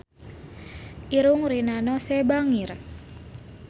Irungna Rina Nose bangir